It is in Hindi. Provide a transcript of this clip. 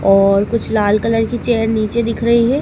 और कुछ लाल कलर की चेयर नीचे दिख रही है।